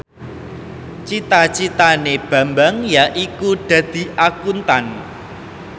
cita citane Bambang yaiku dadi Akuntan